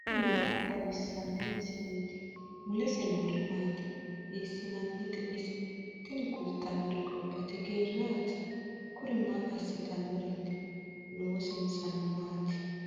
tini maa xawissanno misileeti ? mulese noori maati ? hiissinannite ise ? tini kultannori gobbate geerraati. kuri maa assitannoreeti? loosinsano maati?